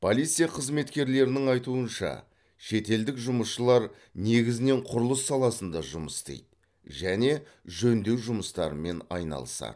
полиция қызметкерлерінің айтуынша шетелдік жұмысшылар негізінен құрылыс саласында жұмыс істейді және жөндеу жұмыстарымен айналысады